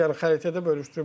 Yəni xəritədə bölüşdürüblər.